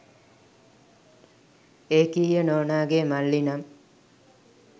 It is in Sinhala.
ඒකීය නෝනාගේ මල්ලි නම්